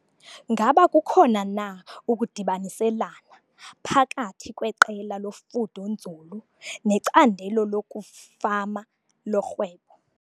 Ngaba kukhona na ukudibaniselana phakathi kweqela lofundo-nzulu necandelo lokufama lorhwebo?